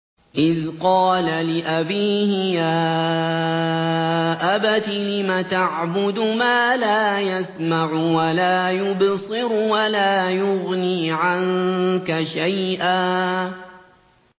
إِذْ قَالَ لِأَبِيهِ يَا أَبَتِ لِمَ تَعْبُدُ مَا لَا يَسْمَعُ وَلَا يُبْصِرُ وَلَا يُغْنِي عَنكَ شَيْئًا